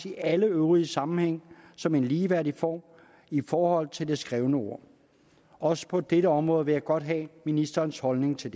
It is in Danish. i alle øvrige sammenhænge som en ligeværdig form i forhold til det skrevne ord også på dette område vil jeg godt høre ministerens holdning til